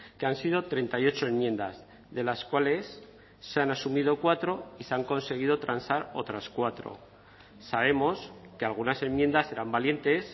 que han sido treinta y ocho enmiendas de las cuales se han asumido cuatro y se han conseguido transar otras cuatro sabemos que algunas enmiendas eran valientes